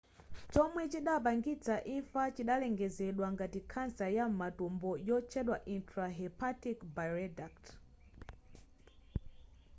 chomwe chidapangitsa imfa chidalengezedwa ngati khansa ya m'matumbo yotchedwa intrahepatic bileduct